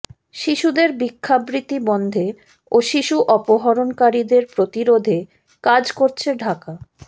শিশুদের ভিক্ষাবৃত্তি বন্ধে ও শিশু অপহরণকারীদের প্রতিরোধে কাজ করছে ঢাকা